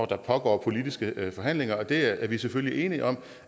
der pågår politiske forhandlinger og der er vi selvfølgelig enige om